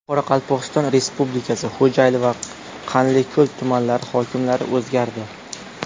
Qoraqalpog‘iston Respublikasi Xo‘jayli va Qanliko‘l tumanlari hokimlari o‘zgardi.